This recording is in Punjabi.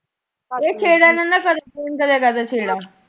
ਤੁਸੀਂ ਕਦੋਂ ਕਰਦੇ ਸੇਵਾ?